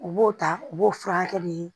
U b'o ta u b'o furakɛ de